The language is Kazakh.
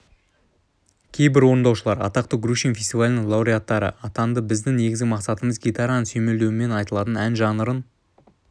кейбір орындаушылар атақты грушин фестивалінің лауреаттары атанды біздің негізгі мақсатымыз гитараның сүйемелдеуімен айтылатын ән жанрын